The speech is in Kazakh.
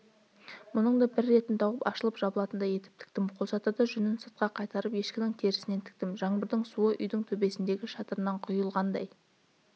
мұның да бір ретін тауып ашылып-жабылатындай етіп тіктім қолшатырды жүнін сыртқа қайтарып ешкінің терісінен тіктім жаңбырдың суы үйдің төбесіндегі шатырынан құйылғандай